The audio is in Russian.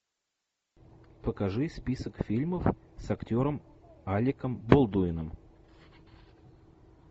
покажи список фильмов с актером алеком болдуином